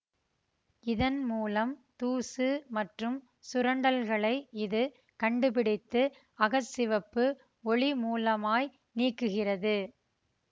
இதன் மூலம் தூசு மற்றும் சுரண்டல்களை இது கண்டுபிடித்து அக சிவப்பு ஒளி மூலமாய் நீக்குகிறது